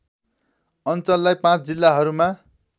अञ्चललाई ५ जिल्लाहरूमा